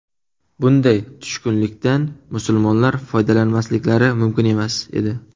Bunday tushkunlikdan musulmonlar foydalanmasliklari mumkin emas edi.